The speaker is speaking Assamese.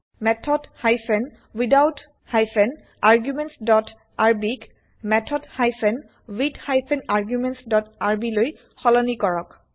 method hyphen without hyphen arguments dot RB ক method hyphen with hyphen arguments dot RB লৈ সলনি কৰক